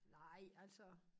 Nej altså